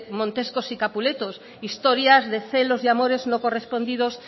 montescos y capuletos historias de celos y amores no correspondidos